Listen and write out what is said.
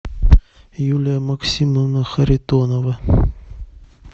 юлия максимовна харитонова